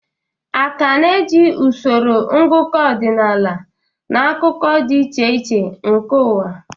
A ka na-eji usoro ngụkọ ọdịnaala n'akụkụ dị iche iche nke ụwa.